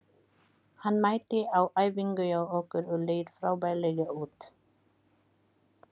Hann mætti á æfingu hjá okkur og leit frábærlega út.